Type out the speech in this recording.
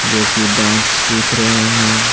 जो कि डांस सीख रहे हैं।